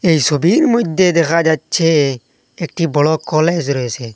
এই ছবির মইধ্যে দেখা যাচ্ছে একটি বড়ো কলেজ রয়েছে।